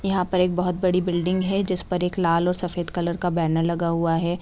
यहां पर एक बहुत बड़ी बिल्डिंग है जिसपर एक लाल और सफेद कलर का बैनर लगा हुआ है।